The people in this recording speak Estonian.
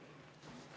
Eduard Odinets, palun!